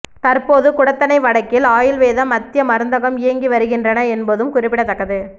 தற்போது குடத்தனை வடக்கில் ஆயுள்வேத மத்திய மருந்தகம் இயங்கி வருகின்றன என்பதும் குறிப்பிடத்தக்கது